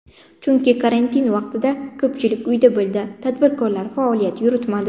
Chunki karantin vaqtida ko‘pchilik uyda bo‘ldi, tadbirkorlar faoliyat yuritmadi.